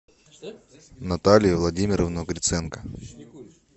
наталью владимировну гриценко